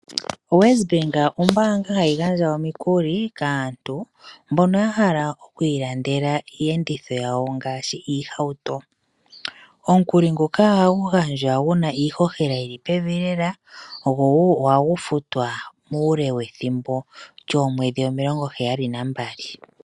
OWesbank ombaanga hayi gandja omikuli kaantu mbono ya hala oku ilandela iiyenditho yawo ngaashi iihauto. Omukuli nguka ohagu gandjwa gu na iihohela yi li pevi lela gwo wo ohagu futwa muule wethimbo lyoomwedhi omilongo heyali nambali.